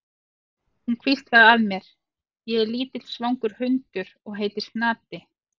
Hún hvíslaði að mér: Ég er lítill svangur hundur og heiti Snati.